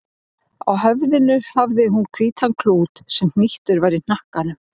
Á höfði hafði hún hvítan klút sem hnýttur var í hnakkanum.